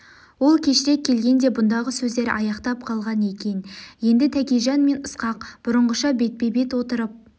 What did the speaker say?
ол кешірек келген де бұндағы сөздер аяқтап қалған екен енді тәкежан мен ысқақ бұрынғыша бетпе-бет отырып